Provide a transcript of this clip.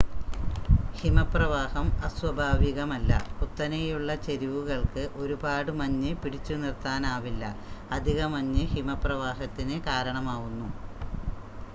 ഹിമപ്രവാഹം അസ്വാഭാവികമല്ല കുത്തനെയുള്ള ചരിവുകൾക്ക് ഒരുപാട് മഞ്ഞ് പിടിച്ചുനിർത്താനാവില്ല അധിക മഞ്ഞ് ഹിമപ്രവാഹത്തിന് കാരണമാവുന്നു